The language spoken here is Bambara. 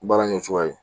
Baara kɛ cogoya ye